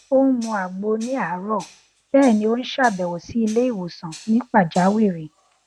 ó n mu àgbo ní àárọ bẹẹ ni ó n ṣàbẹwò sí ilé ìwòsàn ní pàjáwìrì